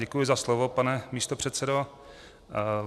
Děkuji za slovo, pane místopředsedo.